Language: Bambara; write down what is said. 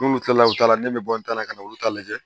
N'olu kilala olu ta la ne bɛ bɔ n ta la ka na olu ta lajɛ